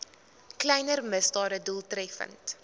kleiner misdade doeltreffend